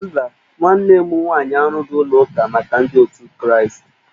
Mba, nwanne m nwaanyị arụghị ụlọ ụka maka ndị otu ndi kraastị